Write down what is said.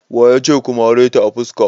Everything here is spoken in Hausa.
Waya ce ka mare ta a fuska?